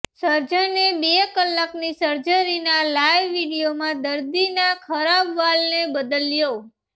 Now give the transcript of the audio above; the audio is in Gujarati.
સર્જને બે કલાકની સર્જરીના લાઇવ વીડિયોમાં દર્દીના ખરાબ વાલને બદલ્યો